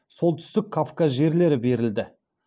солтүстік кавказ жерлері берілді